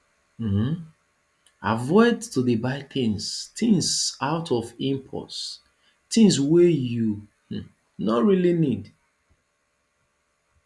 um avoid to dey buy things things out of impulse things wey you um no really need